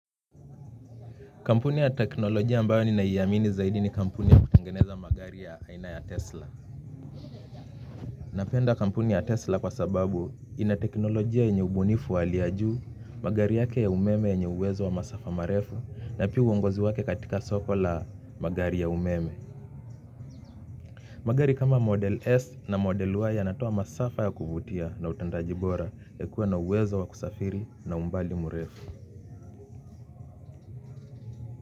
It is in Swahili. Kampuni ya teknolojia ambayo ninaiamini zaidi ni kampuni ya kutangeneza magari ya aina ya Tesla. Napenda kampuni ya Tesla kwa sababu ina teknolojia yenye ubunifu wa hli ya juu, magari yake ya umeme yenye uwezo wa masafa marefu na pia uongozi wake katika soko la magari ya umeme. Magari kama model S na model Y yanatoa masafa ya kuvutia na utendaji bora ya kuwa na uwezo wa kusafiri na umbali murefu.